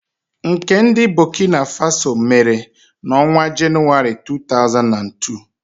Nke ndi mba Bokina Faso mere n'ọnwa Januari, 2022.